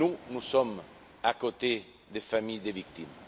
Nous sommes aux côtés des familles des victimes.